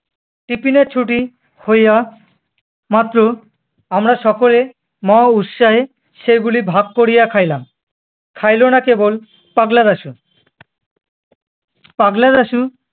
tiffin এর ছুটি হইয়া, মাত্র আমরা সকলে মহা উৎসাহে সেগুলি ভাগ করিয়া খাইলাম। খাইলো না কেবল পাগলা দাশু। পাগলা দাশু-